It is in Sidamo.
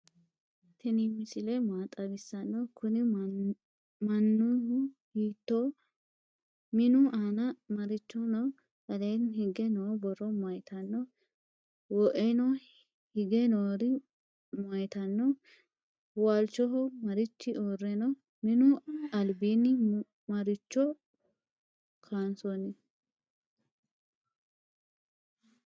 tini misile maa xawisano? kuni mainu hitoho? minu aana marichi no?aleni hige noo borro mayitano? woeoni hige nori mayitano? walchoho marichi ure no?minu albani maricho kansoni?